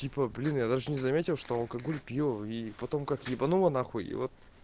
типа блин я даже не заметил что алкоголь пью и потом как ебануло нахуй вот